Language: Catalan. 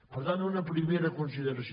per tant una primera consideració